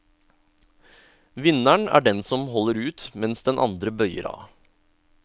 Vinneren er den som holder ut mens den andre bøyer av.